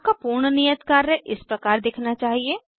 आपका पूर्ण नियत कार्य इस प्रकार दिखना चाहिए